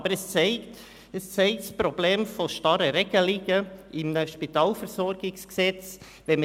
Aber es zeigt das Problem der starren Regelungen im Spitalversorgungsgesetz (SpVG) auf.